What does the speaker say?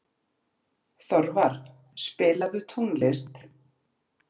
Þorvar, spilaðu tónlist.